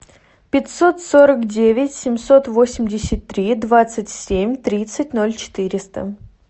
пятьсот сорок девять семьсот восемьдесят три двадцать семь тридцать ноль четыреста